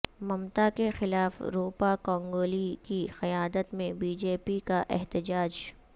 ممتاکے خلاف روپا گانگولی کی قیادت میں بی جے پی کا احتجاج